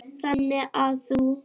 Þannig að þú.